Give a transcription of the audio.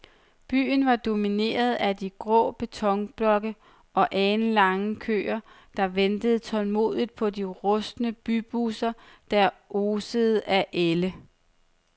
Byen var domineret af grå betonblokke og alenlange køer, der ventede tålmodigt på de rustne bybusser, der osede af ælde.